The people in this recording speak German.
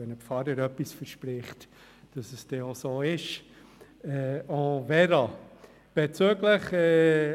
Wenn ein Pfarrer etwas verspricht, dann gehen wir sogar davon aus, dass es so sein wird.